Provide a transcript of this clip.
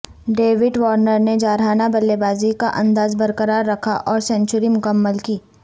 David Warner نے جارحانہ بلے بازی کا انداز برقرار رکھا اور سنچری مکمل کی